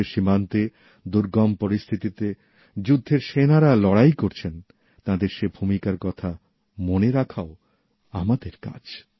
দেশের সীমান্তে দুর্গম পরিস্থিতিতে যুদ্ধের সেনারা লড়াই করছেন তাঁদের সে ভূমিকার কথা মনে রাখাও আমাদের কাজ